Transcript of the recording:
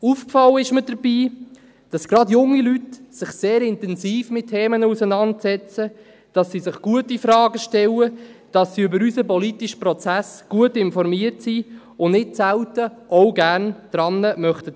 Aufgefallen ist mir dabei, dass gerade junge Leute sich sehr intensiv mit Themen auseinandersetzen, dass sie sich gute Fragen stellen, dass sie über unseren politischen Prozess gut informiert sind und nicht selten auch gerne daran teilnehmen möchten.